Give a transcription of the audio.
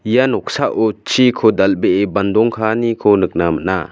ia noksao chiko dal·bee bandong kaaniko nikna gita man·a.